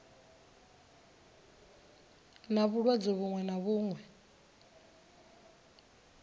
na vhulwadze vhuṅwe na vhuṅwe